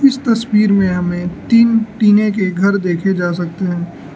इस तस्वीर में हमें तीन टीने के घर देखे जा सकते हैं।